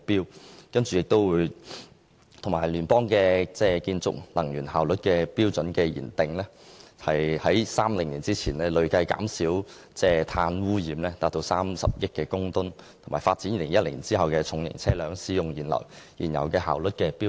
藉由設施與聯邦建築能源效率標準的訂定，於2030年前累計至少減少碳污染30億公噸，以及發展2018年後的重型車輛使用燃油的效率標準。